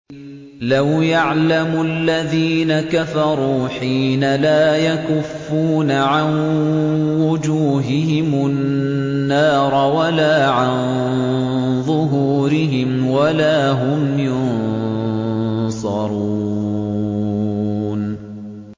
لَوْ يَعْلَمُ الَّذِينَ كَفَرُوا حِينَ لَا يَكُفُّونَ عَن وُجُوهِهِمُ النَّارَ وَلَا عَن ظُهُورِهِمْ وَلَا هُمْ يُنصَرُونَ